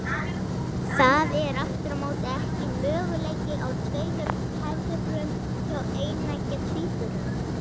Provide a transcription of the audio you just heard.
Það er aftur á móti ekki möguleiki á tveimur feðrum hjá eineggja tvíburum.